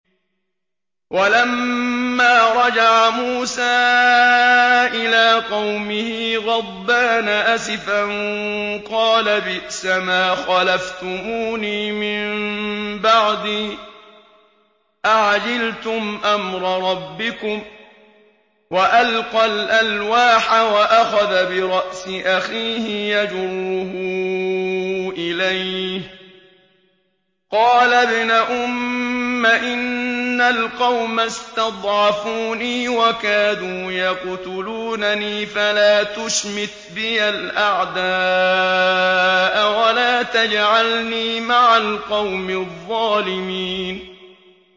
وَلَمَّا رَجَعَ مُوسَىٰ إِلَىٰ قَوْمِهِ غَضْبَانَ أَسِفًا قَالَ بِئْسَمَا خَلَفْتُمُونِي مِن بَعْدِي ۖ أَعَجِلْتُمْ أَمْرَ رَبِّكُمْ ۖ وَأَلْقَى الْأَلْوَاحَ وَأَخَذَ بِرَأْسِ أَخِيهِ يَجُرُّهُ إِلَيْهِ ۚ قَالَ ابْنَ أُمَّ إِنَّ الْقَوْمَ اسْتَضْعَفُونِي وَكَادُوا يَقْتُلُونَنِي فَلَا تُشْمِتْ بِيَ الْأَعْدَاءَ وَلَا تَجْعَلْنِي مَعَ الْقَوْمِ الظَّالِمِينَ